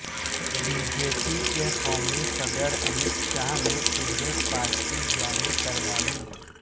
be J P کے قومی صدر امت شاہ نے انہیں پارٹی جوئئن کروائی